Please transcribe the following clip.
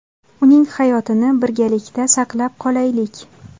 Uning hayotini birgalikda saqlab qolaylik!.